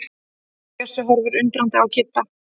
Bjössi horfir undrandi á Kidda.